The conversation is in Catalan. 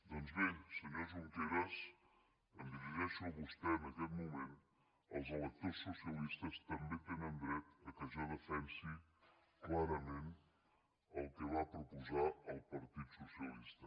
doncs bé senyor junqueras em dirigeixo a vostè en aquest moment els electors socialistes també tenen dret que jo defensi clarament el que va proposar el partit socialista